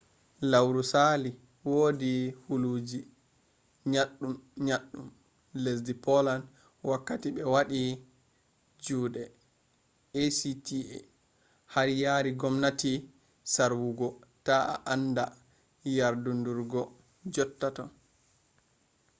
lauru sali wodi huluji nyaddun-nyaddun lesdi poland wakkati be wadi jude acta har yari gomnati sarwugo ta a anda yardudurgo jot ta